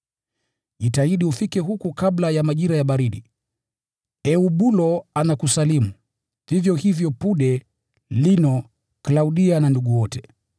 Jitahidi ufike huku kabla ya majira ya baridi. Eubulo anakusalimu, vivyo hivyo Pude, Lino, Klaudia na ndugu wote.